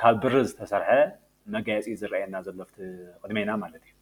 ካብ ብሪ ዝተሰርሐ መጋየፂ እዩ ዝረአየና ዘሎ አብቲ ቅድሜና ማለት እዩ።